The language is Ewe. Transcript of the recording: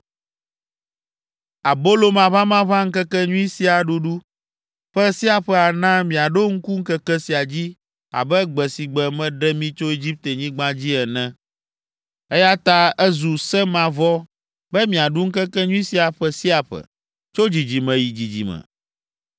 “ ‘Abolo Maʋamaʋã Ŋkekenyui’ sia ɖuɖu ƒe sia ƒe ana miaɖo ŋku ŋkeke sia dzi abe gbe si gbe meɖe mi tso Egiptenyigba dzi ene, eya ta ezu se mavɔ be miaɖu ŋkekenyui sia ƒe sia ƒe, tso dzidzime yi dzidzime.